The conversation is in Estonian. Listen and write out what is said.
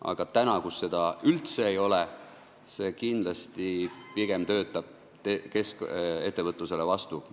Aga täna, kui seda üldse ei ole, see kindlasti töötab kohalikes omavalitsustes pigem ettevõtlusele vastu.